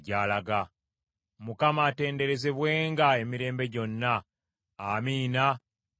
Mukama atenderezebwenga emirembe gyonna! Amiina era Amiina!